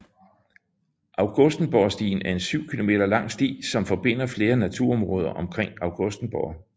Augustenborgstien er en 7 km lang sti som forbinder flere naturområder omkring Augustenborg